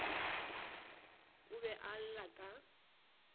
o be a lla ka